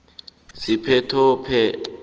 siphethophekghu nanyana awa